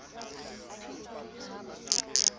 e ne e le nonyana